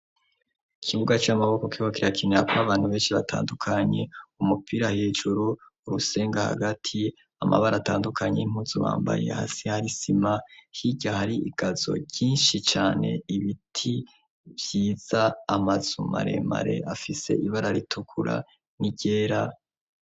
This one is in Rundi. Ikibuga c'amaboko kiriko kirakinirako abantu benshi batandukanye, umupira hejuru, urusenga hagati, amabara atandukanye y'impuzu bambaye, hasi hari isima, hirya hari igazo ryinshi cane, ibiti vyiza, amazu maremare afise ibara ritukura n'iryera.